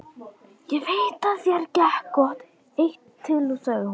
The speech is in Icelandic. Ég veit að þér gekk gott eitt til, sagði hún.